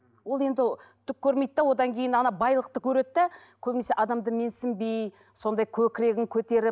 ол енді түк көрмейді де одан кейін ана байлықты көреді де көбінесе адамды менсінбей сондай көкірегін көтеріп